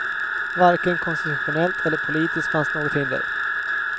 Varken konstitutionellt eller politiskt fanns något hinder.